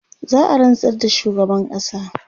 za'a rantsar da shugaban ƙasa